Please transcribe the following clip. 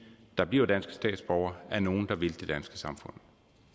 der bliver danske statsborgere er nogle der vil det danske samfund